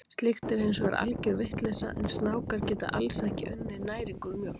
Slíkt er hins vegar algjör vitleysa, en snákar geta alls ekki unnið næringu úr mjólk.